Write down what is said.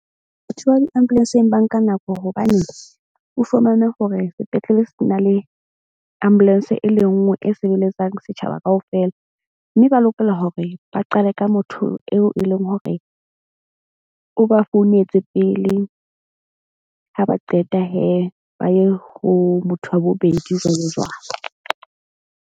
Batho ba di-ambulance-eng ba nka nako hobane o fumane hore sepetlele se na le ambulance e le nngwe e sebeletsang setjhaba kaofela. Mme ba lokela hore ba qale ka motho eo e leng hore o ba founetse pele. Ha ba qeta ba ye ho motho wa bobedi jwalo jwalo.